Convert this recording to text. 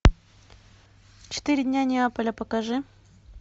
четыре дня неаполя покажи